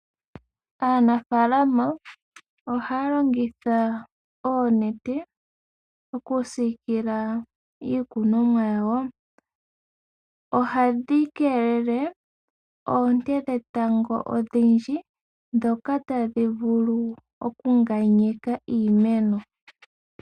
Aanafalama ohaya longitha oonete oku sikila iikunomwa yawo. Ohadhi kelele oonte dhetango odhindji, dhoka tadhi vulu oku nganyeka iimeno.